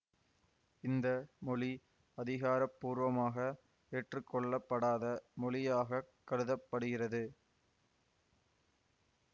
இந்த மொழி அதிகார பூர்வமாக ஏற்றுக்கொள்ளப்படாத மொழியாக கருத படுகிறது